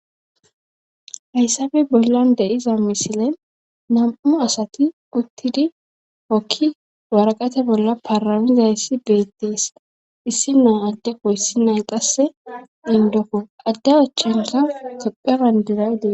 hayssape bollan de'iza misile nam7u asati uttidi okki waraqate bolla paraizayssi beettees issi naa addeko yssi nan qasse indokko adde achchansa tophebandiray dee